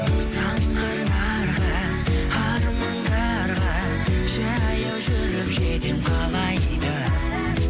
самға нарға армандарға жаяу жүріп жетемін қалай да